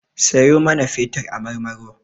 Siyo mana fetur a Marmaro.